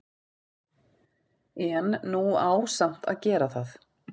En nú á samt að gera það.